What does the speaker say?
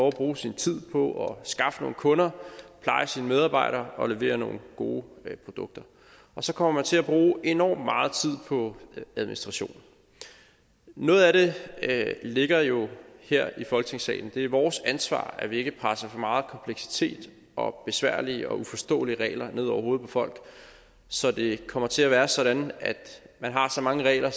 at bruge sin tid på at skaffe nogle kunder pleje sine medarbejdere og levere nogle gode produkter så kommer man til at bruge enorm meget tid på administration noget af det ligger jo her i folketingssalen det er vores ansvar at vi ikke presser for meget kompleksitet og besværlige og uforståelige regler ned over hovedet på folk så det kommer til at være sådan at man har så mange regler